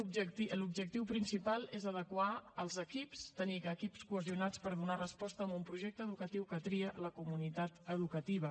l’objectiu principal és adequar els equips tenir equips cohesionats per donar resposta a un projecte educatiu que tria la comunitat educativa